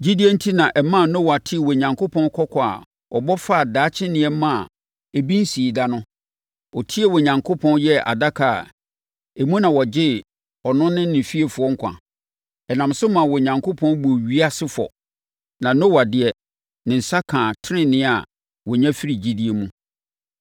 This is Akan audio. Gyidie enti na ɛmaa Noa tee Onyankopɔn kɔkɔ a ɔbɔ faa daakye nneɛma a ebi nsii da no, ɔtiee Onyankopɔn yɛɛ adaka a emu na wɔgyee ɔno ne ne fiefoɔ nkwa. Ɛnam so maa Onyankopɔn buu ewiase fɔ, na Noa deɛ, ne nsa kaa tenenee a wɔnya firi gyidie mu.